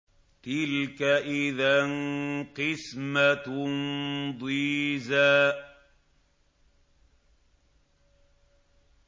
تِلْكَ إِذًا قِسْمَةٌ ضِيزَىٰ